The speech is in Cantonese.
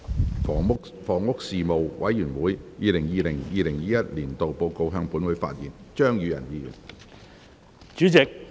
張宇人議員就"房屋事務委員會 2020-2021 年度報告"向本會發言。